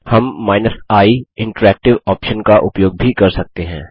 हम i option का उपयोग भी कर सकते हैं